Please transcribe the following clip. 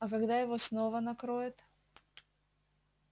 а когда его снова накроет